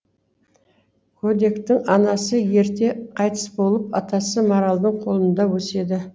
көдектің анасы ерте қайтыс болып атасы маралдың қолында өседі